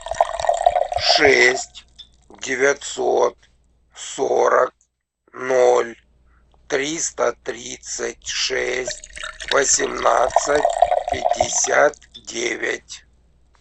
шесть девятьсот сорок ноль триста тридцать шесть восемнадцать пятьдесят девять